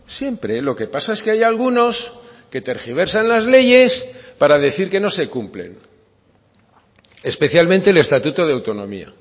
siempre lo que pasa es que hay algunos que tergiversan las leyes para decir que no se cumplen especialmente el estatuto de autonomía